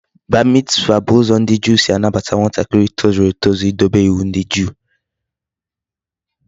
Bar mitzvah bu uzo ndi Juu si anabata nwatakiri tozuru etozu I dobe iwu ndi juu